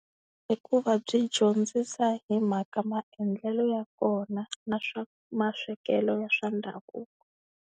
I ku va byi dyondzisa hi mhaka maendlelo ya kona na swa maswekelo ya swa ndhavuko.